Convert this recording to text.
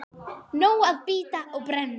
Nóg að bíta og brenna.